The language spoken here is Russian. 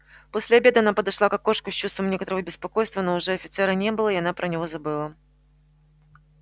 после обеда она подошла к окошку с чувством некоторого беспокойства но уже офицера не было и она про него забыла